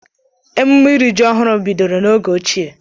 Emume iri ji ọhụrụ bidoro n'oge ochie.